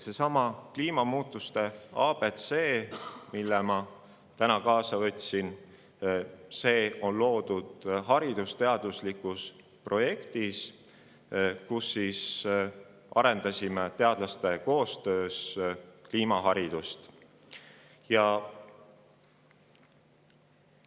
Seesama "Kliimamuutuste ABC", mille ma täna kaasa võtsin, on loodud haridusteadusliku projekti käigus, kus koostöös teiste teadlastega kliimamuutusi.